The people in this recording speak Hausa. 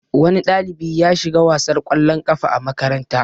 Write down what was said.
Wani ɗalibi ya shiga wasar kwallon kafa a makaranta.